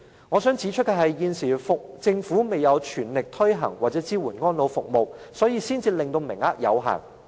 我想藉此指出，政府現時未有全力推行或支援這些安老服務，名額才會這麼有限。